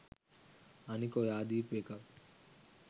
අනික ඔයා දීපු එකක්